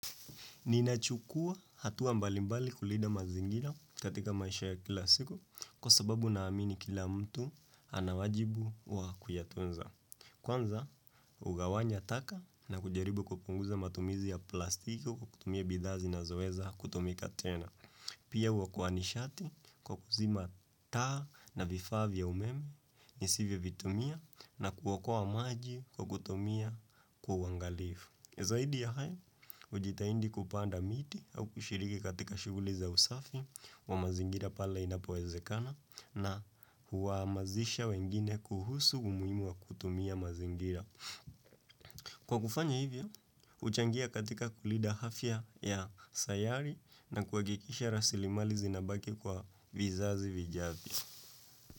Ninachukua hatua mbalimbali kulinda mazingira katika maisha ya kila siku kwa sababu naamini kila mtu ana wajibu wa kuyatunza. Kwanza hugawanya taka na kujaribu kupunguza matumizi ya plastiki kutumia bidhaa zinazoweza kutumika tena. Pia huokoa nishati kwa kuzima taa na vifaa vya umeme nisivyovitumia na kuokoa maji kwa kutumia kwa uangalifu. Zaidi ya haya, hujitahidi kupanda miti au kushiriki katika shughuli za usafi wa mazingira pale inapowezekana na huhamasisha wengine kuhusu umuhimu wa kutumia mazingira. Kwa kufanya hivyo, juchangia katika kulinda afya ya sayari na kuhakikisha rasilimali zinabaki kwa vizazi vijavyo.